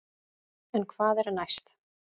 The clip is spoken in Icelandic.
En hvað er næst?